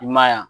I ma ye wa